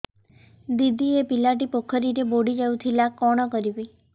ଦିଦି ଏ ପିଲାଟି ପୋଖରୀରେ ବୁଡ଼ି ଯାଉଥିଲା କଣ କରିବି